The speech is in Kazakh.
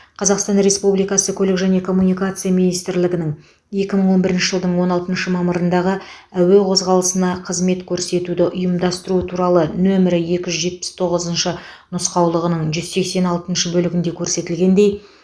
қазақстан республикасы көлік және коммуникация министрлігінің екі мың он бірінші жылдың он алтыншы мамырындағы әуе қозғалысына қызмет көрсетуді ұйымдастыру туралы нөмір екі жүз жетпіс тоғызыншы нұсқаулығының жүз сексен алтыншы бөлігінде көрсетілгендей